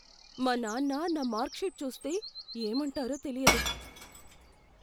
మా నాన్న నా మార్క్ షీట్ చూస్తే, ఏమంటారో తెలియదు.